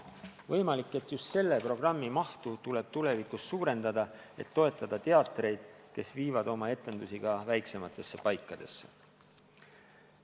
Võimalik, et just selle programmi mahtu tuleb tulevikus suurendada, et toetada teatreid, kes viivad oma etendusi ka väiksematesse paikadesse.